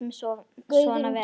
Látum svona vera.